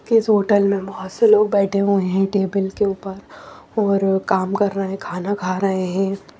इस होटल में बहुत से लोग बैठे हुए हैं टेबल के ऊपर और काम कर रहे हैं खाना खा रहे हैं।